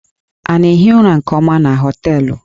Ị na-ehi ụra nke ọma na hóteélụ̀?